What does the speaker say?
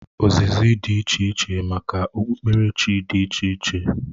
Ozizi dị iche iche maka okpukperechi dị iche iche